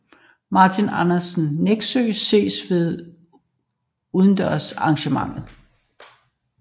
Martin Andersen Nexø ses ved udendørs arrangement